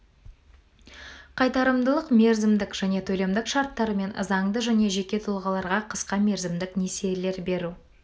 қайтарымдылық мерзімдік және төлемдік шарттарымен заңды және жеке тұлғаларға қысқа мерзімдік несиелер беру